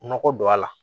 Nɔgɔ don a la